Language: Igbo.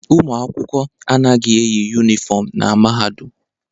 Ụmụ akwụkwọ anaghị eyi yụnifọm na Mahadum.